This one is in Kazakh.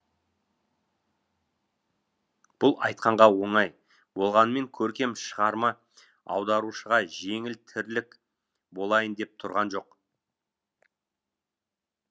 бұл айтқанға оңай болғанымен көркем шығарма аударушыға жеңіл тірлік болайын деп тұрған жоқ